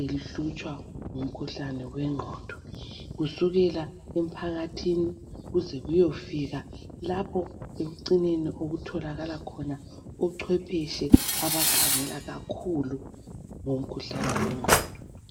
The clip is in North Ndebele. ehlutshwa ngumkhuhlane wenqondo kusukela emphakathini kuze kuyofika lapho ekucineni okutholakala khona ocwephetshe abakhangela kakhulu ngomkhuhlane wenqondo